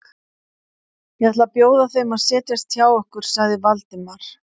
Ég ætla að bjóða þeim að setjast hjá okkur sagði Valdimar.